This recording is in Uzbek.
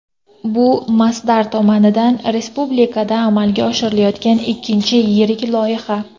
Bu Masdar tomonidan respublikada amalga oshirilayotgan ikkinchi yirik loyiha.